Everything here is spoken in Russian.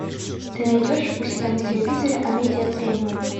ты найдешь у себя на телевизоре амедиа премиум